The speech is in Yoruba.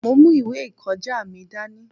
Mo mú ìwé ìkọjá mi dání.